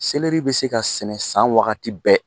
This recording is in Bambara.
Seleri bɛ se ka sɛnɛ san wagati bɛɛ